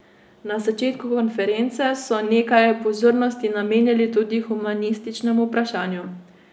Na začetku konference so nekaj pozornosti namenili tudi humanističnemu vprašanju.